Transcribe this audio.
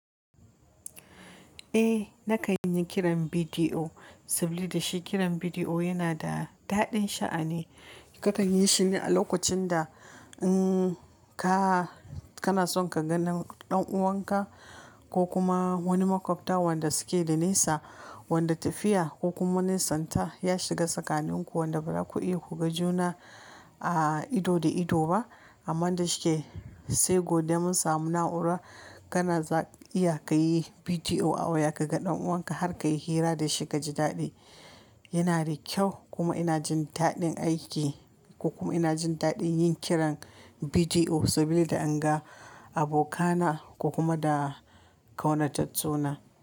Eh, na kan yi kiran bidiyo, saboda shi kiran bidiyo yana da daɗin sha'ani. Kakan yi shine a lokacin da, um, ka, kana son ka gan ɗan uwanka ko kuma wani maƙwabta wanda suke da nisa, wanda tafiya ko kuma nisanta ya shiga tsakanin ku wanda ba za ku iya ku ga juna, ah, ido da ido ba. Amman da shike, sai godiya mun samu na'ura kana za iya ka yi bidiyo a waya ka ga ɗan uwanka har ka yi hira da shi ka ji daɗi. Yana da kyau kuma ina jin daɗin aiki ko kuma ina jin daɗin yin kiran bidiyo saboda in ga abokana ko kuma da ƙaunatattu na.